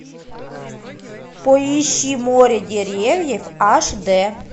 поищи море деревьев аш д